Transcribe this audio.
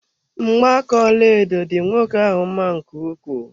Mgba aka ọlaedo dị nwoke ahụ mma nke ukwuu.